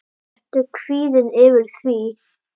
Ertu kvíðinn yfir því?